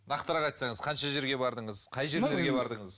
нақтырақ айтсаңыз қанша жерге бардыңыз қай жерлерге бардыңыз